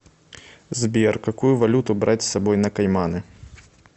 сбер какую валюту брать с собой на кайманы